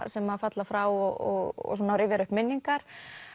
sem að falla frá og svona rifjar upp minningar